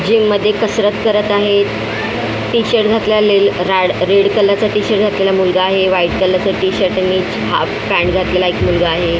Gym मध्ये कसरत करत आहेत टी-शर्ट घातलेल राड रेडचा कलरचा टी-शर्ट घातलेला मुलगा आहे व्हाईट कलरचा टी-शर्ट आणि हाफ पॅन्ट घातलेला एक मुलगा आहे.